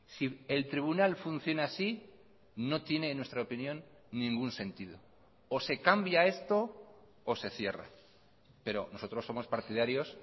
si el tribunal funciona así no tiene en nuestra opinión ningún sentido o se cambia esto o se cierra pero nosotros somos partidarios